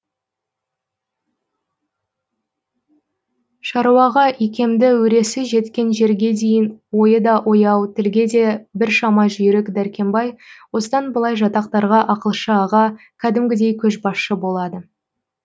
шаруаға икемді өресі жеткен жерге дейін ойы да ояу тілге де біршама жүйрік дәркембай осыдан былай жатақтарға ақылшы аға кәдімгідей көшбасшы болады